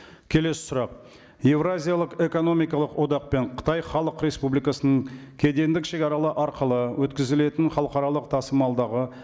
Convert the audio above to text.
келесі сұрақ еуразиялық экономикалық одақ пен қытай халық республикасының кедендік шегаралар арқылы өткізілетін халықаралық тасымалдағы